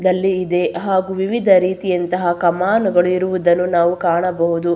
ನಲ್ಲಿ ಇದೆ ಹಾಗು ವಿವಿಧ ರೀತಿಯಂತಹ ಕಮಾನುಗಳು ಇರುವುದನ್ನು ನಾವು ಕಾಣಬಹುದು.